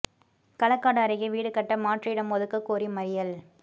களக்காடு அருகே வீடு கட்ட மாற்று இடம் ஒதுக்க கோரி மறியல்